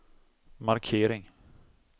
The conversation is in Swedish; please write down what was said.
markering